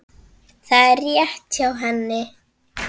Það var rétt hjá henni.